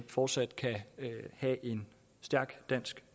fortsat kan have en stærk dansk